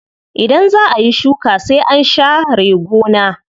Idan zaa ayi shuka sai an sha re gona.